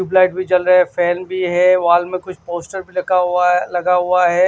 Tube light भी चल रहा है फैन भी है वाल में कुछ पोस्टर भी रखा हुआ है लगा हुआ है।